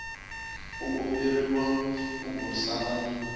u komberiwa ku burisana ni